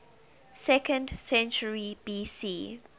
second century bc